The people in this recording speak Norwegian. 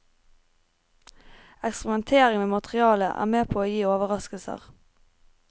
Eksperimentering med materialet er med på å gi overraskelser.